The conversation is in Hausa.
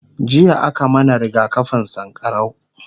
jiya a ka mana rigakafin sankarau